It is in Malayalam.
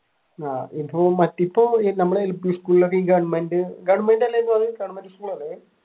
അതിപ്പോ മറ്റെയിപ്പോ നമ്മൾ എൽ പി സ്കൂളിൽ ഒക്കെ ഗവർമെന്റ്